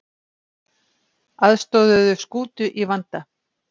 Aðstoðuðu skútu í vanda